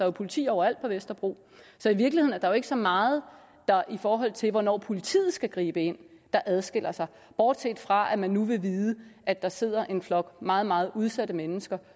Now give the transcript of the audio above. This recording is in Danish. jo politi overalt på vesterbro så i virkeligheden er der jo ikke så meget der i forhold til hvornår politiet skal gribe ind adskiller sig bortset fra at man nu vil vide at der sidder en flok meget meget udsatte mennesker